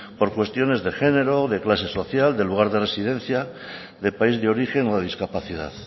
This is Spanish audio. por cuestiones de género de clase social de lugar de residencia de país de origen o de discapacidad